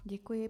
Děkuji.